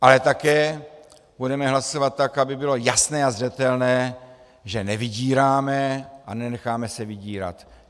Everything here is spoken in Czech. Ale také budeme hlasovat tak, aby bylo jasné a zřetelné, že nevydíráme a nenecháme se vydírat.